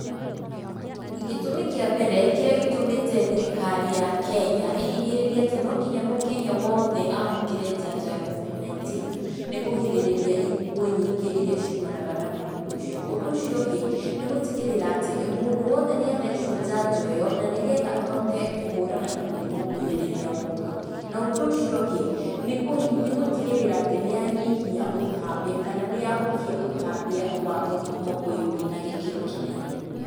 Gĩtũmi kĩa mbere kĩrĩa gĩtũmĩte thirikari ya Kenya ĩhinyĩrĩrie atĩ no nginya mũkenya wothe amũkĩre njanjo ya COVID-19, nĩ kũgirĩrĩria ikuũ nyingĩ iria ciumanaga na mũrimũ ũcio. Ũndũ ũcio ũngĩ nĩ gũtigĩrĩra atĩ mũndũ wothe nĩ athecwo njanjo ĩyo na nĩgetha ahote kũhũrana na mũrimũ ũyũ rĩrĩa woka. Na ũndũ ũcio ũngĩ, nĩ, nĩ gũtigĩrĩra atĩ nĩyanyihia ũtambia kana nĩyahukia ũtambia wa mũrimũ ũyũ na gĩkĩro kĩnene.